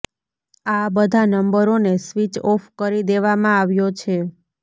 આ બધા નંબરોને સ્વીચ ઓફ કરી દેવામાં આવ્યો છે